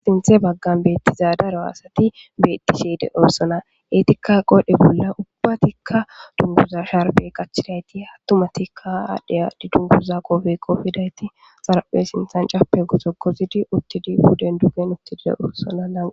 sinthe baggan beettizadaro asati bettiseede oorsona etikka qodhe bolla ubbatikka dunguza sharbe qachidayti hattumatikka aadhdheya didunkuza qoofe kofidayti xaraphe sinthan cape goto kozidi uttidi huden dugen uttide oorssona laaa